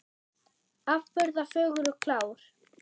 Afburða fögur og klár.